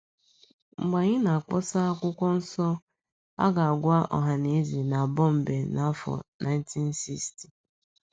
Mgbe anyị na - akpọsa okwu akwụkwọ nso, a ga - agwa ọhaneze na Bọmbee n’afọ 1960